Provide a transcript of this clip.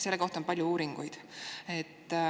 Selle kohta on palju uuringuid.